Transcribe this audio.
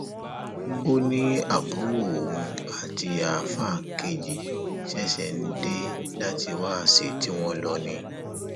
ó ní àbúrò òun àti àáfáà kejì ṣẹṣẹ ń dé láti wáàsí tí wọn lò ni